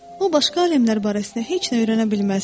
O başqa aləmlər barəsində heç nə öyrənə bilməzdi.